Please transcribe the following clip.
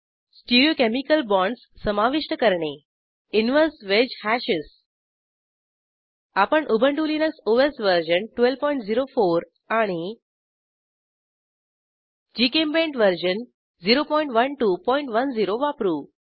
stereochemical bonds समाविष्ट करणे inverse wedge hashes आपण उबंटु लिनक्स ओएस वर्जन 1204 आणि जीचेम्पेंट वर्जन 01210 वापरू